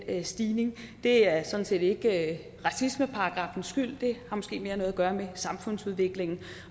stigning det er sådan set ikke racismeparagraffens skyld det har måske mere noget at gøre med samfundsudviklingen